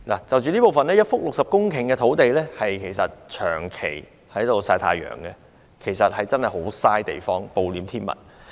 就此方面，一幅60公頃的土地長期曬太陽真的很浪費，暴殄天物。